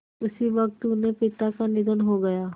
उसी वक़्त उनके पिता का निधन हो गया